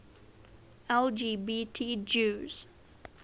lgbt jews